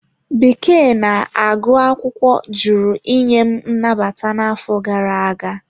Bekee na agụ akwụkwọ jụrụ inye m nnabata n'afọ gara aga.